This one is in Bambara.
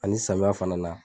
Ali samiya fana na